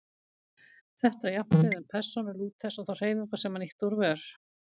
Þetta á jafnt við um persónu Lúthers og þá hreyfingu sem hann ýtti úr vör.